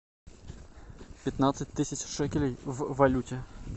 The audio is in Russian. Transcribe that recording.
пятнадцать тысяч шекелей в валюте